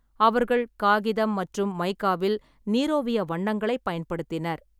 அவர்கள் காகிதம் மற்றும் மைக்காவில் நீரோவிய வண்ணங்களைப் பயன்படுத்தினர்.